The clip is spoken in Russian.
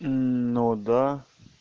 ну да